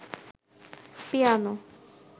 piano